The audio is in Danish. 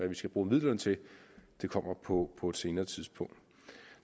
vi skal bruge midlerne til kommer på på et senere tidspunkt